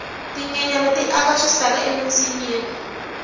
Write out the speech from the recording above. tinyenyani ti aka swisaka eminsinyeni